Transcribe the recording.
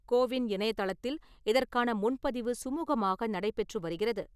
CoWIN இணைய தளத்தில் இதற்கான முன்பதிவு சுமூகமாக நடைபெற்று வருகிறது.